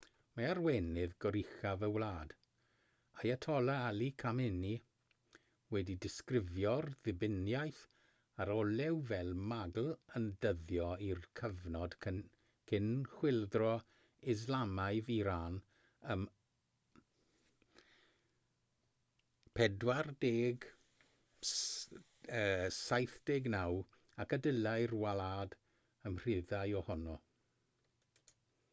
mae arweinydd goruchaf y wlad ayatollah ali khamenei wedi disgrifio'r ddibyniaeth ar olew fel magl yn dyddio i'r cyfnod cyn chwyldro islamaidd iran ym 1979 ac y dylai'r wlad ymryddhau ohono